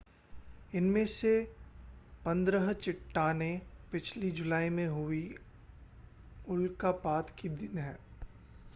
इनमें से पंद्रह चट्टानें पिछली जुलाई में हुए उल्कापात की देन हैं